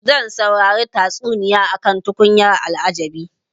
Zan saurari tatsuniya akan tukunyar al'ajabi.